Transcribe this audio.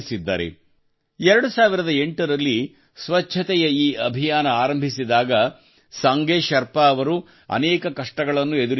2008 ರಲ್ಲಿ ಸ್ವಚ್ಛತೆಯ ಈ ಅಭಿಯಾನ ಆರಂಭಿಸಿದಾಗ ಸಂಗೆ ಶೆರ್ಪಾ ಅವರು ಅನೇಕ ಕಷ್ಟಗಳನ್ನು ಎದುರಿಸಬೇಕಾಯಿತು